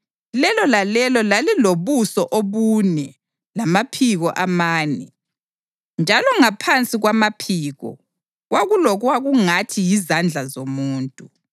Lelo lalelo lalilobuso obune lamaphiko amane, njalo ngaphansi kwamaphiko kwakulokwakungathi yizandla zomuntu.